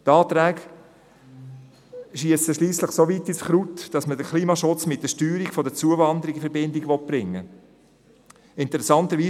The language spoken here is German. Die Anträge schiessen schliesslich soweit ins Kraut, dass man den Klimaschutz mit der Steuerung der Zuwanderung in Verbindung bringen will.